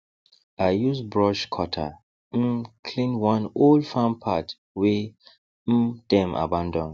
i use brush cutter um clear one old farm path wey um dem abandon